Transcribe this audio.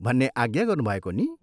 भन्ने आज्ञा गर्नुभएको नि?